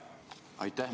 Aitäh!